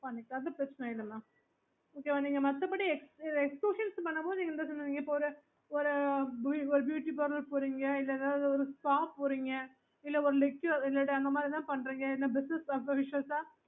அது பிரச்னை இல்ல mam மத்தபடி நீங்க வந்து ஒரு beauty parlour போறீங்க இல்லன்னா ஒரு spa போறீங்க